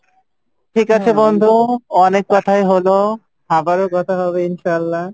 ঠিক আছে বন্ধু অনেক কথাই হলো, আবারও কথা হবে ইনশাআল্লাহ